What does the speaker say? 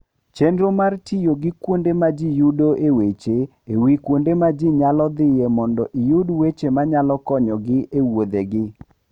Chenro mar tiyo gi kuonde ma ji yudoe weche e wi kuonde ma ji nyalo dhiye mondo iyud weche ma nyalo konyogi e wuodhgi.